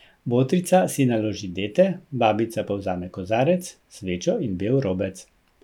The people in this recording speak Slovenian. Botrica si naloži dete, babica pa vzame kozarec, svečo in bel robec.